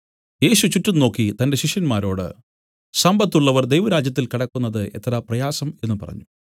യേശു ചുറ്റും നോക്കി തന്റെ ശിഷ്യന്മാരോട് സമ്പത്തുള്ളവർ ദൈവരാജ്യത്തിൽ കടക്കുന്നത് എത്ര പ്രയാസം എന്നു പറഞ്ഞു